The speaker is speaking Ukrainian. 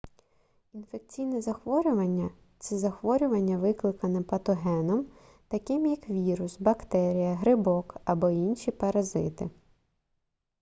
інфекційне захворювання це захворювання викликане патогеном таким як вірус бактерія грибок або інші паразити